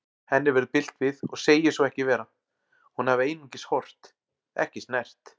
Henni verður bilt við og segir svo ekki vera, hún hafi einungis horft, ekki snert.